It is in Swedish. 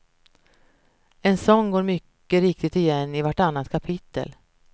En sådan går mycket riktigt igen i vartannat kapitel.